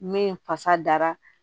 Min fasa dara